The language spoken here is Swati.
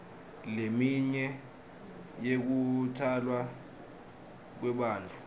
leminye yekutalwa kwebantfu